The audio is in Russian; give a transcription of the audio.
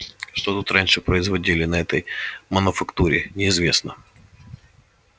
что тут раньше производили на этой мануфактуре неизвестно